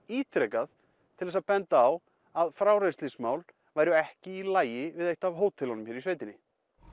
ítrekað til þess að benda á að frárennslismál væru ekki í lagi við eitt af hótelunum hér í sveitinni